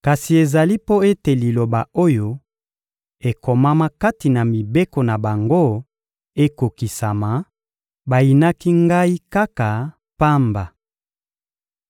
Kasi ezali mpo ete liloba oyo ekomama kati na mibeko na bango ekokisama: «Bayinaki Ngai kaka pamba.»